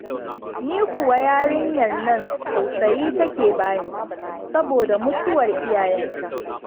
Ni kuwa yarinyar nan tausayi take bani saboda mutuwar iyayenta